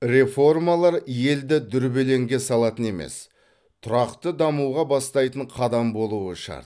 реформалар елді дүрбелеңге салатын емес тұрақты дамуға бастайтын қадам болуы шарт